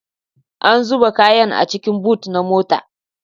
An zuba kayan a cikin bot na motar